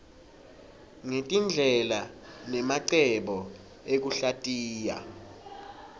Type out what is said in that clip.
ngetindlela nemacebo ekuhlatiya